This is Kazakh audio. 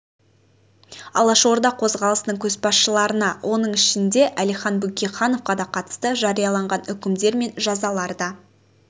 алаш орда қозғалысының көшбасшыларына оның ішінде әлихан бөкейхановқа да қатысты жарияланған үкімдер мен жазалар да